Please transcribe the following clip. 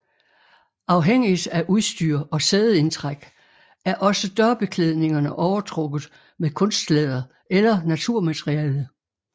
Afhængigt af udstyr og sædeindtræk er også dørbeklædningerne overtrukket med kunstlæder eller naturmateriale